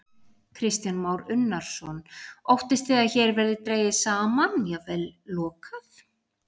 Kristján Már Unnarsson: Óttist þið að hér verði dregið saman, jafnvel lokað?